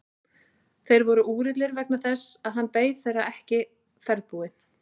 Þeir voru úrillir vegna þess að hann beið þeirra ekki ferðbúinn.